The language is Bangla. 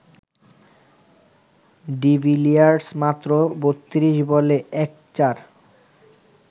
ডিভিলিয়ার্স মাত্র ৩২ বলে ১ চার